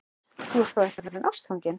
Þú ert þó ekki orðinn ástfanginn?